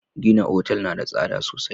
Gina otal na da tsada sosai.